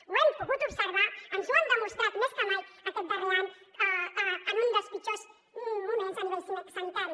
ho hem pogut observar ens ho han demostrat més que mai aquest darrer any en un dels pitjors moments a nivell sanitari